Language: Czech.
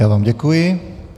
Já vám děkuji.